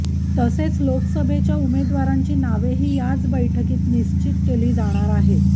तसेच लोकसभेच्या उमेदवारांची नावेही याच बैठकीत निश्चित केली जाणार आहेत